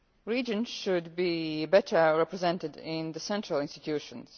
Regions should be better represented in the central institutions.